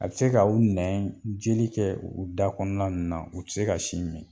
A bɛ se ka u nɛɛn jeli kɛ u da kɔɔna ninnu na u ti se ka sin min.